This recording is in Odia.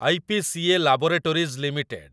IPCA laboratories limited